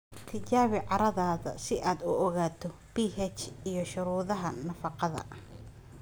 Tijaabi carradaada si aad u ogaato pH & shuruudaha nafaqada"""